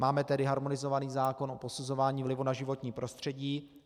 Máme tedy harmonizovaný zákon o posuzování vlivu na životní prostředí.